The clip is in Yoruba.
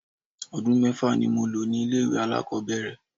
Odun mẹ́fà ni mo lò ní ilé ìwẹ̀ alákòbẹ̀rẹ̀.